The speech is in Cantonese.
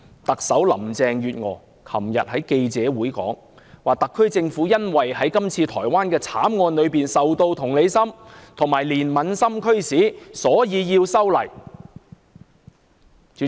特首林鄭月娥昨日在記者會上表示，特區政府因為對台灣的慘案深表同情和憐憫，因而提出修例。